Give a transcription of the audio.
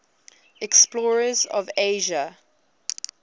explorers of asia